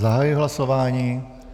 Zahajuji hlasování.